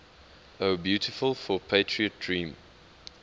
o beautiful for patriot dream